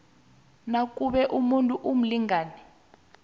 nakube umuntu umlingani